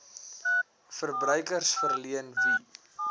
verbruikers verleen wie